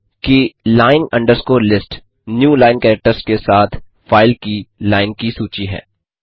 ध्यान दें कि line list new line characters के साथ फाइल की लाइन की सूची है